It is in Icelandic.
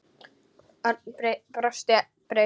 Örn brosti breitt.